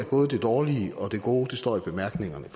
både det dårlige og det gode står i bemærkningerne